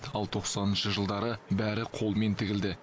ал тоқсаныншы жылдары бәрі қолмен тігілді